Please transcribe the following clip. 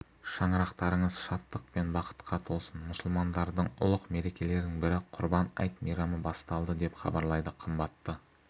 шаңырақтарыңыз шаттық пен бақытқа толсын мұсылмандардың ұлық мерекелерінің бірі құрбан айт мейрамы басталды деп хабарлайды қымбатты